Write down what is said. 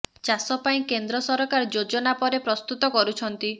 ଚାଷ ପାଇଁ କେନ୍ଦ୍ର ସରକାର ଯୋଜନା ପରେ ପ୍ରସ୍ତୁତ କରୁଛନ୍ତି